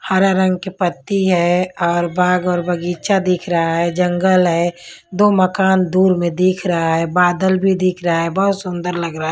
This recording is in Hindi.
हरा रंग के पत्ती है और बाग और बगीचा दिख रहा है जंगल है दो मकान दूर में दिख रहा है बादल भी दिख रहा है बहुत सुंदर लग रहा है।